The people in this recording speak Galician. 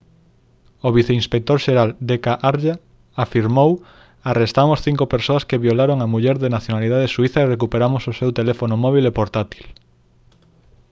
o viceinspector xeral d. k. arya afirmou: «arrestamos cinco persoas que violaron á muller de nacionalidade suíza e recuperamos o seu teléfono móbil e portátil»